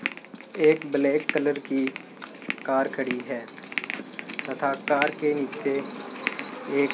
एक black colour की car खड़ी है तथा कार के नीचे एक --